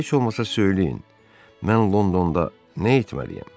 Heç olmasa söyləyin, mən Londonda nə etməliyəm?